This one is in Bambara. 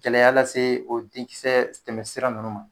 Gɛlɛya lase o dɛnkisɛ tɛmɛsira nunnu ma.